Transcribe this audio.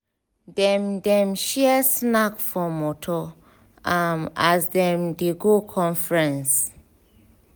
dem dem share snack for motor um as dem dey go conference.